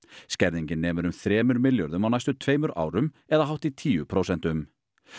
skerðingin nemur um þremur milljörðum á næstu tveimur árum eða hátt í tíu prósentum